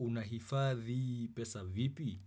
Una hifadhi pesa vipi?